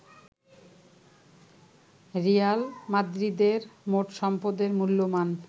Real মাদ্রিদের মোট সম্পদের মূল্যমান